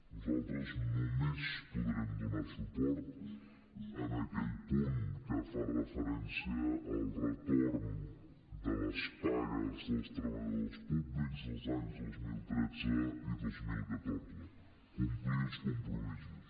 nosaltres només podrem donar suport a aquell punt que fa referència al retorn de les pagues dels treballadors públics dels anys dos mil tretze i dos mil catorze complir els compromisos